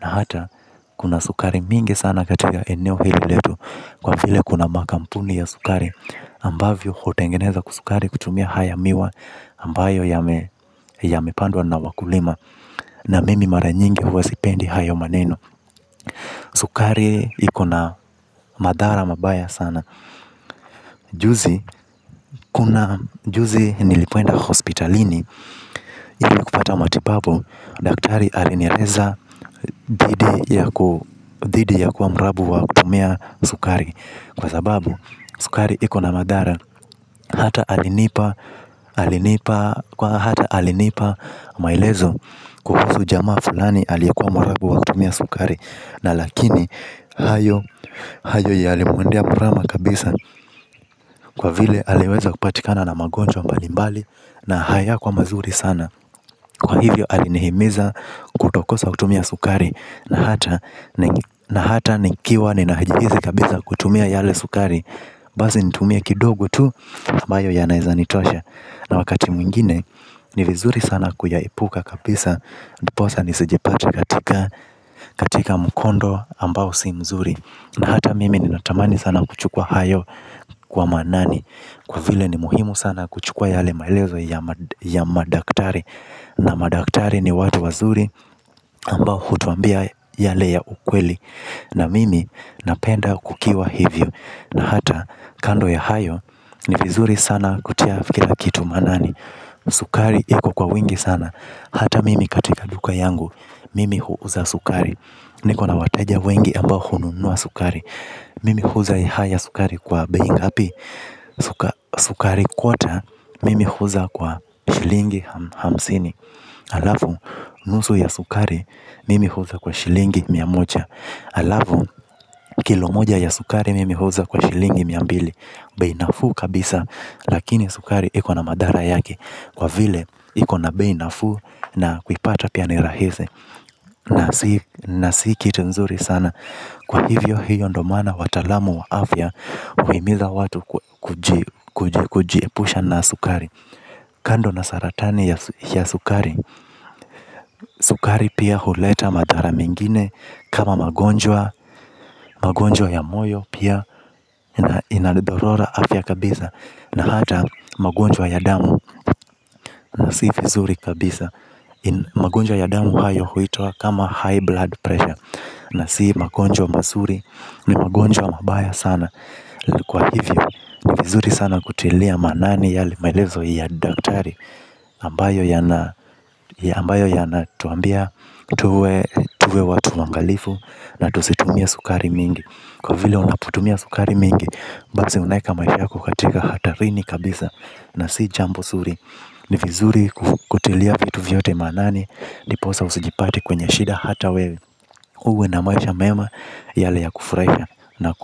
Na hata, kuna sukari mingi sana katika eneo hili letu. Kwa vile kuna makampuni ya sukari ambavyo hutengeneza sukari kutumia haya miwa ambayo yamepandwa na wakulima. Na mimi mara nyingi huwa sipendi hayo maneno. Sukari ikona madhara mabaya sana. Juzi, kuna juzi nilipoenda hospitalini ili kupata matibabu, daktari alinieleza dhidhi ya kuwa mrabu wa kutumia sukari. Kwa sababu, sukari ikona madhara. Hata alinipa maelezo kuhusu jamaa fulani aliyekuwa mwarabu wa kutumia sukari. Na lakini hayo yalimwendea mrama kabisa kwa vile aliweza kupatikana na magonjwa mbalimbali na hayakuwa mazuri sana. Kwa hivyo alinihimiza kutokosa kutumia sukari na hata nikiwa ninajihisi kabisa kutumia yale sukari. Basi nitumie kidogo tu ambayo ya naweza nitosha. Na wakati mwingine ni vizuri sana kuyaepuka kabisa. Ndiposa nisijipate katika mukondo ambao si mzuri. Na hata mimi ninatamani sana kuchukua hayo. Kwa manani. Kwa vile ni muhimu sana kuchukua yale maelezo ya madaktari. Na madaktari ni watu wazuri ambao hutuambia yale ya ukweli. Na mimi napenda kukiwa hivyo. Na hata kando ya hayo ni vizuri sana kutia kila kitu manani sukari iko kwa wingi sana hata mimi katika duka yangu mimi huuza sukari, niko na wateja wengi ambao hununua sukari mimi huuza sukari haya kwa bei ngapi? Sukari kwota mimi huuza kwa shilingi hamsini. Halafu nusu ya sukari mimi huuza kwa shilingi mia moja. Alafu kilo moja ya sukari mimi huuza kwa shilingi miambili. Bei nafuu kabisa lakini sukari ikona madhara yake. Kwa vile ikona bei nafuu na kuipata pia ni rahisi. Na si kitu nzuri sana. Kwa hivyo hiyo ndio maana watalamu wa afya uhimiza watu kujiepusha na sukari. Kando na saratani ya sukari sukari pia huleta madhara mengine. Kama magonjwa, magonjwa ya moyo pia inalidhorora afya kabisa. Na hata magonjwa ya damu na si vizuri kabisa. Magonjwa ya damu hayo huitwa kama high blood pressure. Na si magonjwa mazuri ni magonjwa mabaya sana. Kwa hivyo, ni vizuri sana kutilia manani yale maelezo ya daktari ambayo yana tuambia tuwe watu waangalifu na tusitumie sukari mingi. Kwa vile unapotumia sukari mingi, basi unaweka maisha yako katika hatarini kabisa na si jambo zuri ni vizuri kutilia vitu vyote manani ndiposa usijipate kwenye shida hata wewe, huwe na maisha mema yale ya kufurahi.